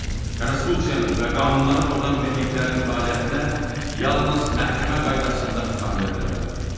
Konstitusiyanı və qanunları pozan birliklərin fəaliyyətinə yalnız məhkəmə qaydasında xitam verilə bilər.